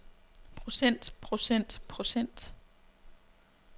procent procent procent